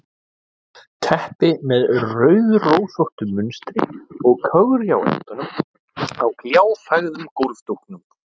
Teppi með rauðrósóttu munstri og kögri á endunum á gljáfægðum gólfdúknum.